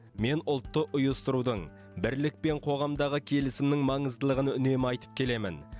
мен ұлтты ұйыстырудың бірлік пен қоғамдағы келісімнің маңыздылығын үнемі айтып келемін